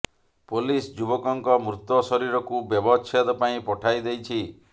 police ଯୁବକଙ୍କ ମୃତ ଶରୀରକୁ ବ୍ୟବଚ୍ଛେଦ ପାଇଁ ପଠାଇ ଦେଇଛି